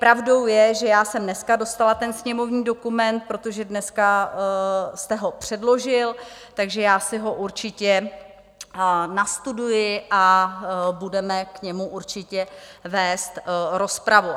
Pravdou je, že já jsem dnes dostala ten sněmovní dokument, protože dnes jste ho předložil, takže já si ho určitě nastuduji a budeme k němu určitě vést rozpravu.